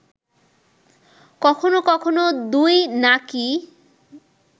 কখনো কখনো দুই নাকই